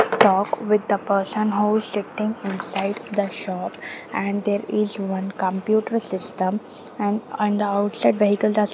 talk with the person who is sitting inside the shop and there is one computer system and and the outside vehicles are --